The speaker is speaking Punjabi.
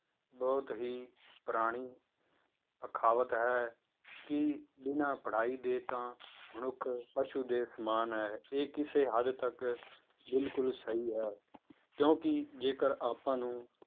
ਬਹੁਤ ਹੀ ਪੁਰਾਣੀ ਅਖਾਵਤ ਹੈ ਕਿ ਬਿਨਾਂ ਪੜ੍ਹਾਈ ਦੇ ਤਾਂ ਮਨੁੱਖ ਪਸੂ ਦੇ ਸਮਾਨ ਹੈ, ਇਹ ਕਿਸੇ ਹੱਦ ਤੱਕ ਬਿਲਕੁਲ ਸਹੀ ਹੈ ਕਿਉਂਕਿ ਜੇਕਰ ਆਪਾਂ ਨੂੰ